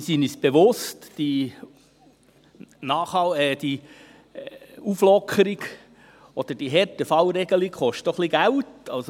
Wir sind uns bewusst, dass die Auflockerung oder die Härtefallregelung ein bisschen Geld kosten.